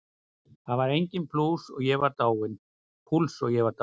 Það var enginn púls, ég var dáinn.